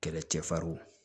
Kɛlɛcɛfarw